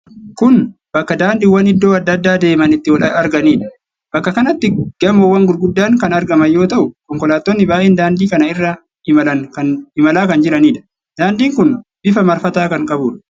Kun Bakka daandiwwan iddoo adda addaa deeman itti wal arganiidha. Bakka kanatti gamoowwan gurguddaan kan argaman yoo ta'u, konkolaattonni baay'een daandii kana irra imalaa kan jiraniidha. Daandiin kun bifa marfataa kan qabuudha.